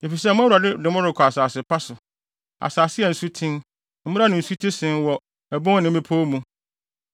Efisɛ mo Awurade de mo rekɔ asase pa so; asase a nsuten, mmura ne nsuti sen wɔ abon ne mmepɔw mu;